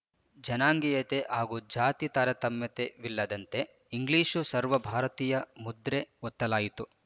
ಜನಾಂಗೀಯತೆ ಹಾಗೂ ಜಾತಿ ತಾರತಮ್ಯವಿಲ್ಲದಂತೆ ಇಂಗ್ಲೀಷು ಸರ್ವ ಭಾರತೀಯ ಮುದ್ರೆ ಒತ್ತಲಾಯಿತು